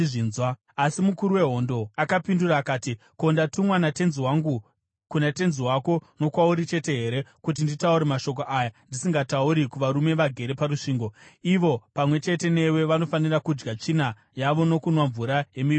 Asi mukuru wehondo akapindura akati, “Ko, ndakatumwa natenzi wangu kuna tenzi wako nokwauri chete here kuti nditaure mashoko aya ndisingatauri kuvarume vagere parusvingo, ivo pamwe chete newe vanofanira kudya tsvina yavo nokunwa mvura yemiviri yavo?”